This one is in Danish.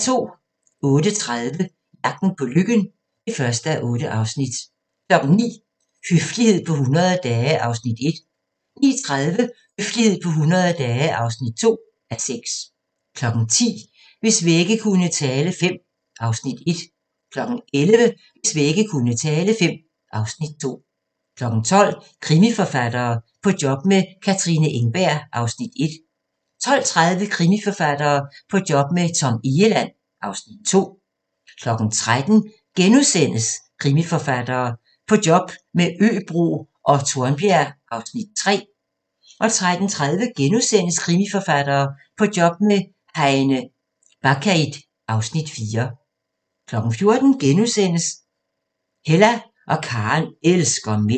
08:30: Jagten på lykken (1:8) 09:00: Høflighed på 100 dage (1:6) 09:30: Høflighed på 100 dage (2:6) 10:00: Hvis vægge kunne tale V (Afs. 1) 11:00: Hvis vægge kunne tale V (Afs. 2) 12:00: Krimiforfattere – På job med Katrine Engberg (Afs. 1) 12:30: Krimiforfattere – På job med Tom Egeland (Afs. 2) 13:00: Krimiforfattere - På job med Øbro og Tornbjerg (Afs. 3)* 13:30: Krimiforfattere – På job med Heine Bakkeid (Afs. 4)* 14:00: Hella og Karen elsker mænd (1:5)*